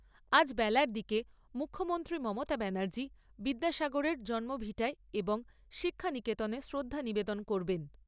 আজ বেলার দিকে মুখ্যমন্ত্রী মমতা ব্যানার্জি, বিদ্যাসাগরের জন্মভিটায় এবং শিক্ষা নিকেতনে শ্রদ্ধা নিবেদন করবেন।